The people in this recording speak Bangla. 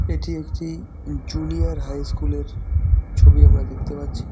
এটি একটি জুনিয়র হাই স্কুল -এর ছবি আমরা দেখতে পাচ্ছি।